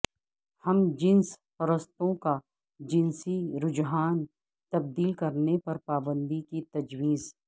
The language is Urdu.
ہم جنس پرستوں کا جنسی رجحان تبدیل کرنے پر پابندی کی تجویز